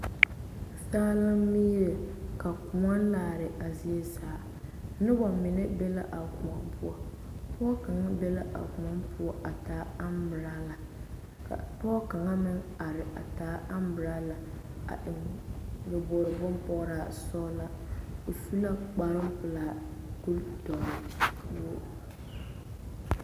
Saa la mire ka kõɔ laare a zaa zie noba mine be la a kõɔ poɔ pɔge kaŋa be la a kõɔ poɔ a pegle anboɔrɔla ka pɔge kaŋa meŋ are a taa anboɔrɔla a eŋ nyaboɔre bonpɔgra o su la kparo pelaa.